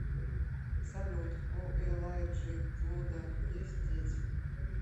салют у элайджи вуда есть дети